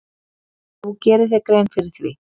Þú gerir þér grein fyrir því.